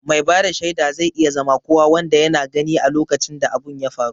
Mai bada shaida zai iya zama kowa wanda yana gani a lokacin da abun ya faru